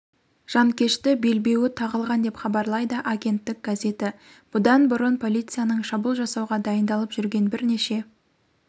жанкешті белбеуі тағылған деп хабарлайды агенттік газеті бұдан бұрын полицияның шабуыл жасауға дайындалып жүрген бірнеше